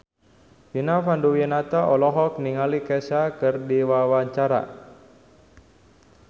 Vina Panduwinata olohok ningali Kesha keur diwawancara